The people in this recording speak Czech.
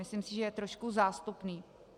Myslím si, že je trošku zástupný.